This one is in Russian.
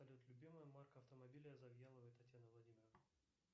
салют любимая марка автомобиля завьяловой татьяны владимировны